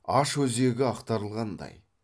аш өзегі ақтарылғандай